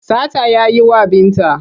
Sata ya yi wa Binta.